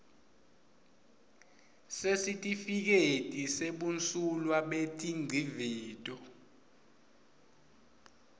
sesitifiketi sebumsulwa betingcivito